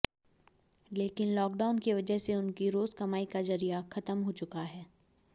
लेकिन लॉकडाउन की वजह से उनकी रोज कमाई का जरिया खत्म हो चुका है